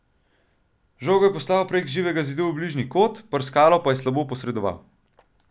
Žogo je poslal prek živega zidu v bližnji kot, Prskalo pa je slabo posredoval.